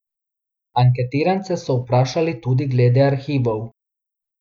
Anketirance so vprašali tudi glede arhivov.